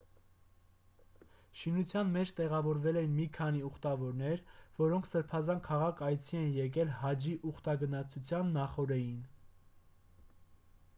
շինության մեջ տեղավորվել էին մի քանի ուխտավորներ որոնք սրբազան քաղաք այցի էին եկել հաջի ուխտագնացության նախօրեին